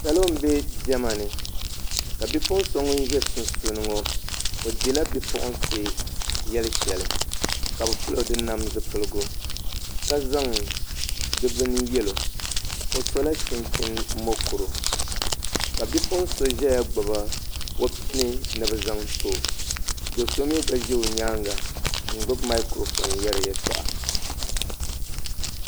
Salo n bɛ diɛma ni ka bipuɣun so ŋun ʒɛ sunsuuni ŋo o dila bipuɣunsi yɛli shɛli ka bi pilo di nam zipiligu ka zaŋ di bini yɛlo o sola chunchin mokuru ka bipuɣun so ʒɛya gbubi o pini ni bi zaŋ too do so mii gba ʒɛ o nyaanga n gbuni maikiro foon yɛri yɛltɔɣa